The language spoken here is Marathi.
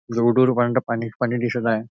रोड वर पांढर पाणीच पाणी दिसत आहे.